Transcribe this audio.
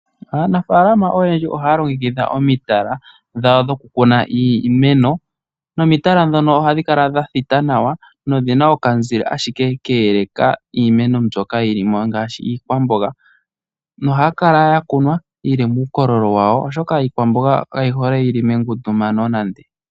Aanafalama oyendji ohaya longekidha omitala dhawo dhokukuna iimeno, nomitala dhono ohadhi kala dha thita nawa nodhina okamuzile ashike ka eleka iimeno mbyoka yili mo ngaashi iikwamboga. Nohaya kala ya kunwa yi li muukololo wawo oshoka iikwamboga kayi hole yili mengundumano nande.